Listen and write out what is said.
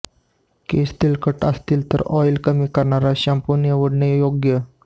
केस तेलकट असतील तर ऑईल कमी करणारा शॅम्पू निवडणे योग्य